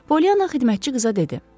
Polyana xidmətçi qıza dedi: